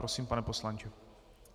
Prosím, pane poslanče.